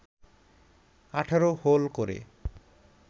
১৮ hole করে